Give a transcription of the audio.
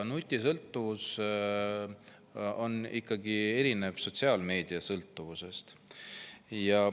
Nutisõltuvus erineb ikkagi sotsiaalmeediasõltuvusest.